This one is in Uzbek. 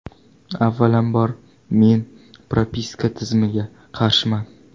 Avvalambor, men propiska tizimiga qarshiman.